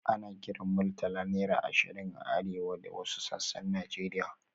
Ana kiran Murtala naira ashirin a arewa da wasu sassan Najeriya.